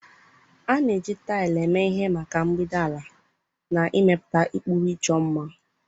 A na-eji taịlị eme ihe maka mgbidi ala, na ịmepụta ụkpụrụ ịchọ mma.